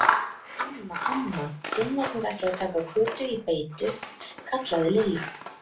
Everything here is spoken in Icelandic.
Amma, amma, Finnarnir ætluðu að taka Kötu í beitu kallaði Lilla.